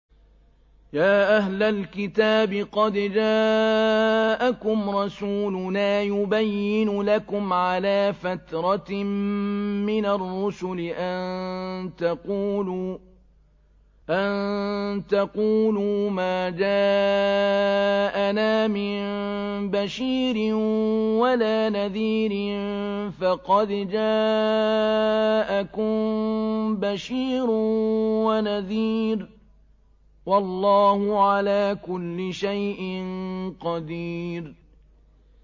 يَا أَهْلَ الْكِتَابِ قَدْ جَاءَكُمْ رَسُولُنَا يُبَيِّنُ لَكُمْ عَلَىٰ فَتْرَةٍ مِّنَ الرُّسُلِ أَن تَقُولُوا مَا جَاءَنَا مِن بَشِيرٍ وَلَا نَذِيرٍ ۖ فَقَدْ جَاءَكُم بَشِيرٌ وَنَذِيرٌ ۗ وَاللَّهُ عَلَىٰ كُلِّ شَيْءٍ قَدِيرٌ